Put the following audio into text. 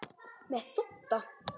Með Dodda?